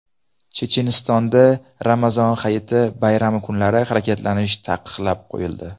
Chechenistonda Ramazon Hayiti bayrami kunlari harakatlanish taqiqlab qo‘yildi.